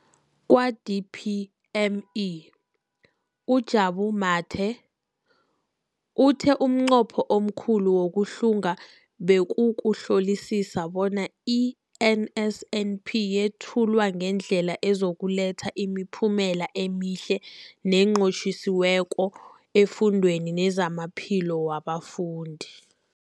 Kwa-DPME, uJabu Mathe, uthe umnqopho omkhulu wokuhlunga bekukuhlolisisa bona i-NSNP yethulwa ngendlela ezokuletha imiphumela emihle nenqotjhiweko efundweni nezamaphilo wabafundi.